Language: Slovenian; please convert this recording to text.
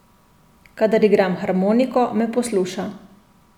Kadar igram harmoniko, me posluša.